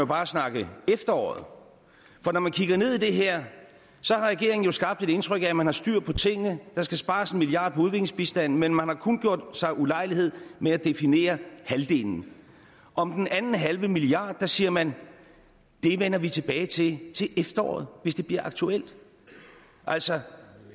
bare snakke efteråret for når man kigger ned i det her har regeringen jo skabt et indtryk af at man har styr på tingene der skal spares en milliard kroner på udviklingsbistanden men man har kun gjort sig ulejlighed med at definere halvdelen om den anden halve milliard siger man det vender vi tilbage til til efteråret hvis det bliver aktuelt altså